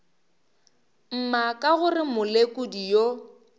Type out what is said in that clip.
mma ka gore molekodi yo